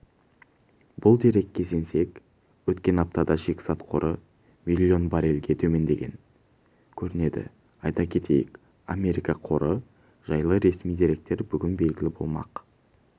бұл дерекке сенсек өткен аптада шикізат қоры миллион баррельге төмендеген көрінеді айта кетейік америка қоры жайлы ресми деректер бүгін белгілі болмақ